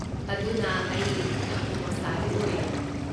ꯑꯗꯨꯅ ꯑꯩ ꯌꯥꯝꯅ ꯅꯣꯁꯇꯥꯜꯖꯤꯛ ꯑꯣꯏꯔꯦ꯫